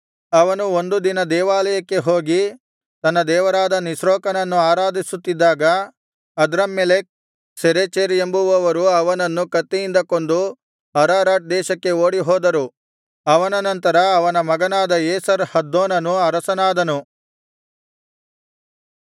ಅವನು ಒಂದು ದಿನ ದೇವಾಲಯಕ್ಕೆ ಹೋಗಿ ತನ್ನ ದೇವರಾದ ನಿಸ್ರೋಕನನ್ನು ಆರಾಧಿಸುತ್ತಿದ್ದಾಗ ಅದ್ರಮ್ಮೆಲೆಕ್ ಸರೆಚೆರ್ ಎಂಬುವವರು ಅವನನ್ನು ಕತ್ತಿಯಿಂದ ಕೊಂದು ಅರರಾಟ್ ದೇಶಕ್ಕೆ ಓಡಿಹೋದರು ಅವನ ನಂತರ ಅವನ ಮಗನಾದ ಏಸರ್ ಹದ್ದೋನನು ಅರಸನಾದನು